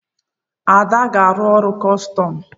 Ada aga-arụ ọrụ kọstọm?